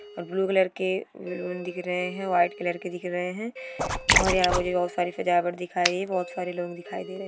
और blue colour के balloon दिख रहे है व्हाइट कलर के दिख रहे है और यहाँ मुझे बहुत सारी सजावट दिखाई बोहोत सारे लोग दिखाई दे रहे है।